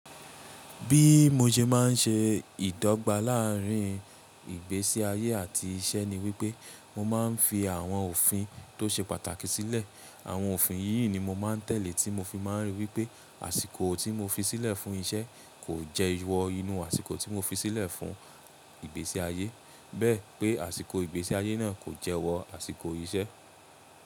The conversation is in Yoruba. Bí mo se má ń ṣe ìdọ́gba láàrín ìgbésí ayé àti iṣẹ́ ni wípé mo máa ń fi àwọn òfin tó ṣe pàtàkì sílẹ̀. Àwọn òfin yìí ni mo máa ń tẹ̀lé tí mo fi máa ń ríi wípé àsìkò tí mo fi sílẹ̀ fún iṣẹ́ kò jẹ iwọ inú àsìkò tí mo fi sílẹ̀ fún ìgbése ayé. Bẹ́ẹ̀ pé àsìkò ìgbésí ayé náà kò jẹ́wọ̀ àsìkò iṣẹ́.